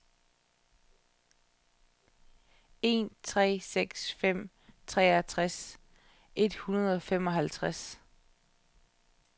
en tre seks fem treogtres et hundrede og femoghalvtreds